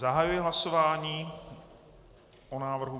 Zahajuji hlasování o návrhu.